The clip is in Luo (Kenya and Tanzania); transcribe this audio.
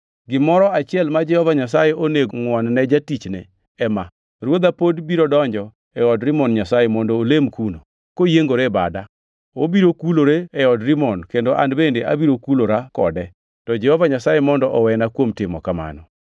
Gimoro achiel ma Jehova Nyasaye onego ngʼwon-ne jatichne ema: Ruodha pod biro donjo e od Rimon nyasaye mondo olem kuno, koyiengore e bada. Obiro kulore e od Rimon kendo an bende abiro kulora kode, to Jehova Nyasaye mondo owena kuom timo kamano.”